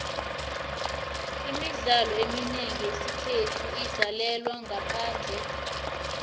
imidlalo eminengi yesikhethu idlalelwa ngaphandle